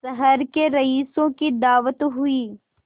शहर के रईसों की दावत हुई